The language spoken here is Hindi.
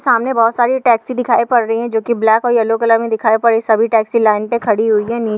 सामने बहुत सारी टैक्सी दिखाई पड़ रही हैं जो की ब्लैक और येलो कलर में दिखाई पड़ रही हैं सभी टैक्सी लाइन पे खड़ी हुई हैं। नी--